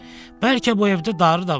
Bəlkə bu evdə darı da var?